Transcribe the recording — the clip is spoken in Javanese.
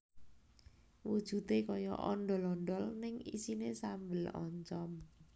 Wujudé kaya ondhol ondhol ning isiné sambel oncom